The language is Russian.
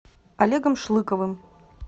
олегом шлыковым